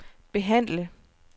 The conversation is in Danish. behandle